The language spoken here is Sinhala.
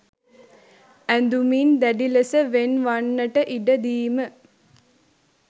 ඇඳුමින් දැඩි ලෙස වෙන් වන්නට ඉඩ දීම